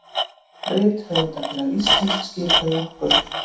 Rithöfundafélag Íslands skipaði okkur